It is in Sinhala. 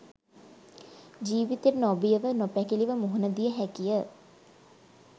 ජීවිතයට නොබියව නොපැකිළව මුහුණ දිය හැකිය.